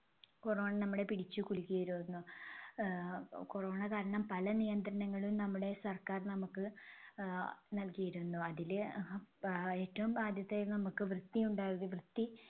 corona നമ്മളെ പിടിച്ചുകുലുക്കിയിരുന്നു. ആഹ് corona കാരണം പല നിയന്ത്രണങ്ങളും നമ്മുടെ സർക്കാർ നമുക്ക് ആഹ് നൽകിയിരുന്നു. അതില് ആഹ് ഏറ്റവും ആദ്യത്തെ നമുക്ക് വൃത്തി ഉണ്ടാവുക വൃത്തി